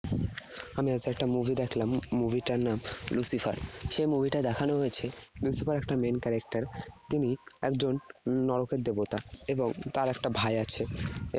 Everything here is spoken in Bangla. আমি আজকে একটা movie দেখলাম। movie টার নাম Lucifer । সেই movie টায় দেখানো হয়েছে Lucifer একটা main character । তিনি একজন নরকের দেবতা এবং তার একটা ভাই আছে।